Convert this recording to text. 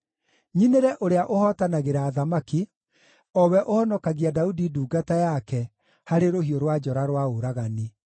nyinĩre Ũrĩa ũhootanagĩra athamaki, o we ũhonokagia Daudi ndungata yake harĩ rũhiũ rwa njora rwa ũragani.